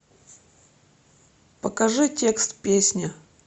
покажи текст песни